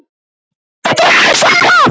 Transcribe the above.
Og ekkert við því að segja.